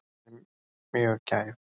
Er mjög gæf.